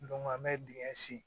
an bɛ dingɛ sen